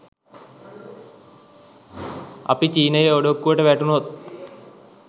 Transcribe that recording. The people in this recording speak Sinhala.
අපි චීනයේ ඔඩොක්කුවට වැටුණොත්